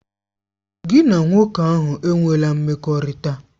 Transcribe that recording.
Gị na nwoke ahụ enwela mmekọrịta!